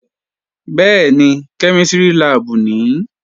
Bẹ́ẹ̀ni, kẹ́mísìrì láàbù nìí